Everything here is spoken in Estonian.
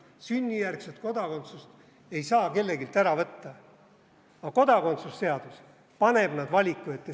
Sünnijärgset kodakondsust ei saa kelleltki ära võtta, aga kodakondsuse seadus paneb nad valiku ette.